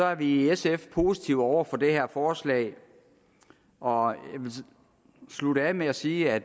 er vi i sf positive over for det her forslag og jeg vil slutte af med at sige at